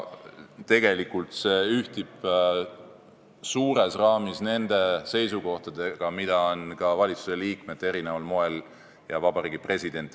Tegelikult ühtib see suurtes raamides nende seisukohtadega, mida on eri moel väljendanud ka valitsusliikmed ja Vabariigi President.